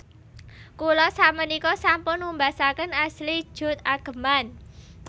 Kula sakmenika sampun numbasaken Ashley Judd ageman